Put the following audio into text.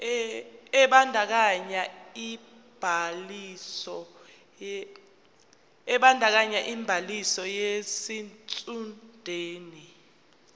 ebandakanya ubhaliso yesitshudeni